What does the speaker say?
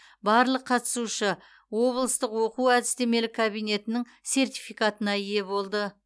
барлық қатысушы облыстық оқу әдістемелік кабинетің сертификатына ие болды